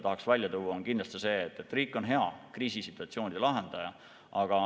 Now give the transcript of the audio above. Üks on kindlasti see, et riik on hea kriisisituatsioonide lahendaja.